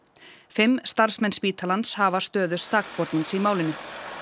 fimm starfsmenn spítalans hafa stöðu sakbornings í málinu